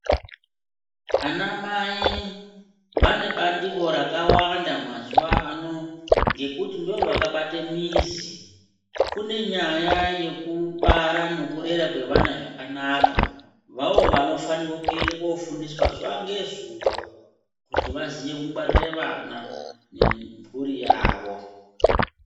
Anamai vane bandiko rakawanda mazuwaano, ngekuti ndovakabate mizi. Kune nyaya yekubara nekurera kwevana zvakanaka, vavo vanofanirwa kuende koofundiswa zuva nezuva kuti vaziye kungwarire vana, nemphuri yavo.